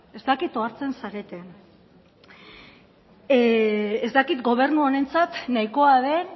ez dakit ohartzen zareten ez dakit gobernu honentzat nahikoa den